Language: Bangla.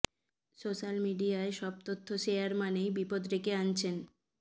সোশ্যাল মিডিয়ায় সব তথ্য শেয়ার মানেই বিপদ ডেকে আনছেন